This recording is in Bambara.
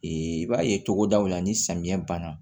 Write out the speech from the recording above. i b'a ye cogodaw la ni samiya banna